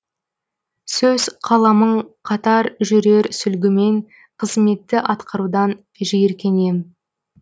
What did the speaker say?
сөз қаламың қатар жүрер сүлгімен қызметті атқарудан жиіркенем